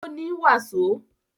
Ó ní wàsó